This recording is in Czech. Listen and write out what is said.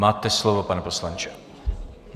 Máte slovo, pane poslanče.